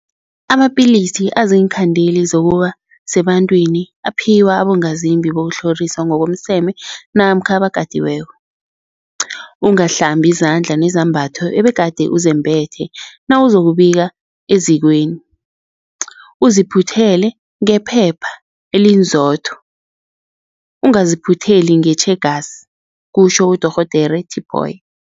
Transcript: Amapilisi aziinkhandeli zokuba sebantwini aphiwa abongazimbi bokutlhoriswa ngokomseme namkha abakatiweko. Ungahlambi izandla nezembatho obegade uzembethe nawuzokubika ezikweni, uziphuthele ngephepha elinzotho, ungaziphutheli ngetjhegasi, kutjho uDorh Tipoy.